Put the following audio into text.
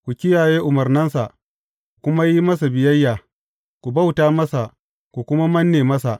Ku kiyaye umarnansa, ku kuma yi masa biyayya; ku bauta masa, ku kuma manne masa.